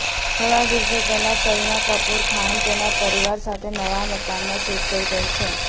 થોડા દિવસો પહેલા કરીના કપૂર ખાન તેના પરિવાર સાથે નવા મકાનમાં શિફ્ટ થઈ ગઈ છે